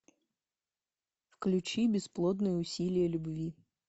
включи бесплодные усилия любви